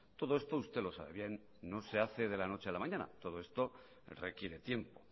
todo esto usted lo sabe bien no se hace de la noche a la mañana todo esto requiere tiempo